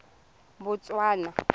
botswana